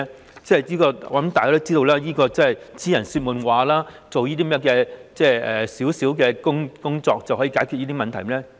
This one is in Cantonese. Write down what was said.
我相信大家也知道，這只是癡人說夢話，做少許工作是絕對不能解決以上問題的。